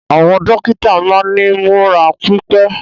Àwọn dókítà máa ni múra pipe.